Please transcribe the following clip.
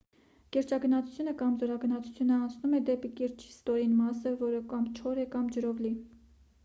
կիրճագնացությունը կամ ձորագնացությունը անցումն է դեպի կիրճի ստորին մասը որը կամ չոր է կամ ջրով լի: